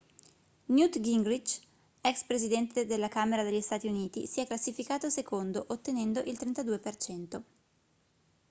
newt gingrinch ex presidente della camera degli stati uniti si è classificato secondo ottenendo il 32%